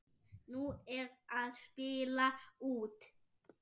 Nú er að spila út.